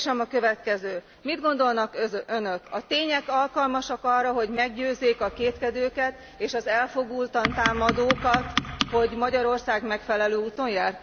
A kérdésem a következő Mit gondolnak Önök, a tények alkalmasak e arra, hogy meggyőzzék a kétkedőket, és az elfogultan támadókat, hogy Magyarország megfelelő úton jár?